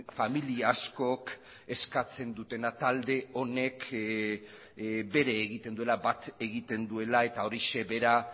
familia askok eskatzen dutena talde honek bere egiten duela bat egiten duela eta horixe bera